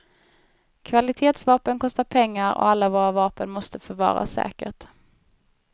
Kvalitetsvapen kostar pengar och alla vapen måste förvaras säkert.